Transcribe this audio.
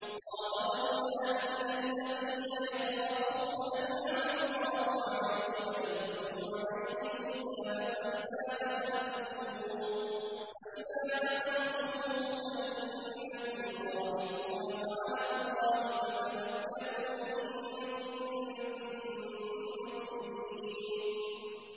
قَالَ رَجُلَانِ مِنَ الَّذِينَ يَخَافُونَ أَنْعَمَ اللَّهُ عَلَيْهِمَا ادْخُلُوا عَلَيْهِمُ الْبَابَ فَإِذَا دَخَلْتُمُوهُ فَإِنَّكُمْ غَالِبُونَ ۚ وَعَلَى اللَّهِ فَتَوَكَّلُوا إِن كُنتُم مُّؤْمِنِينَ